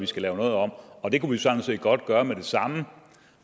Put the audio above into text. skal lave noget om og det kunne vi sådan set godt gøre med det samme